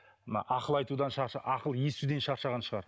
мына ақыл айтудан ақыл естуден шаршаған шығар